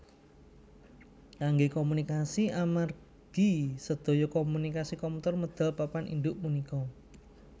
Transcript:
Kanggé komunikasi amargi sedaya komunikasi komputer medal papan induk punika